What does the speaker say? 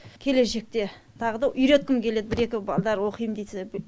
келешекте тағы да үйреткім келеді бір екі балдар оқим десе